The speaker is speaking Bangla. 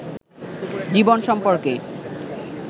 জীবন সম্পর্কে